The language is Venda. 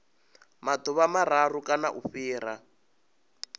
maḓuvha mararu kana u fhira